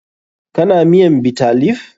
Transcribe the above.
Kana miyan Bitter leaf?